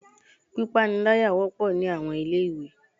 Pípániláyà wọ́pọ̀ ní àwọn ilé ìwé.